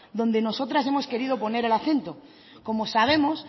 donde nosotras hemos querido poner el acento como sabemos